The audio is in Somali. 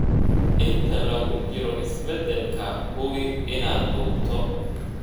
Inta lagu jiro isbeddelka, hubi inaad duubto.